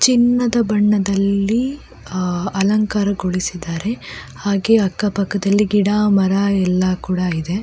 ಚಿನ್ನದ ಬಣ್ಣದಲ್ಲಿ ಅಹ್ ಅಲಂಕಾರ ಗೊಳಿಸಿದ್ದಾರೆ ಹಾಗೆ ಅಕ್ಕ ಪಕ್ಕದಲ್ಲಿ ಗಿಡ ಮರ ಎಲ್ಲ ಕೂಡ ಇದೆ.